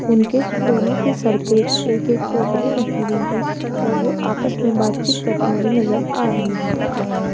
उनके दोनों के सर पे एक एक टोकरियाँ रखी हुई है और वो आपस में बातचीत करती हुई नजर आ रही है।